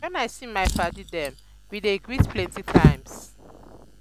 wen i see my paddy dem we dey greet plenty times.